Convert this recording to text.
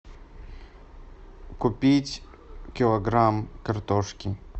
купить килограмм картошки